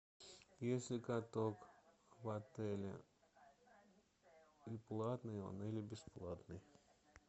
есть ли каток в отеле и платный он или бесплатный